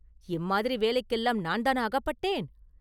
இம்மாதிரி வேலைக்கெல்லாம் நான்தானா அகப்பட்டேன்?